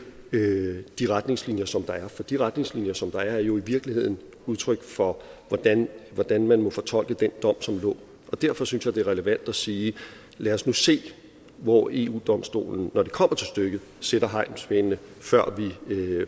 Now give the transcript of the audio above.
de retningslinjer som der er for de retningslinjer som der er er jo i virkeligheden udtryk for hvordan hvordan man må fortolke den dom som lå derfor synes jeg det er relevant at sige lad os nu se hvor eu domstolen når det kommer til stykket sætter hegnspælene